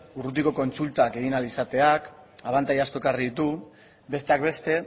urrutiko kontsultak egin ahal izateak abantaila asko ekarri ditu besteak beste